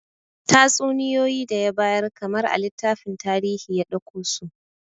Tatsuniyoyi da ya bayar kamar a littafin tarihi ya dauko su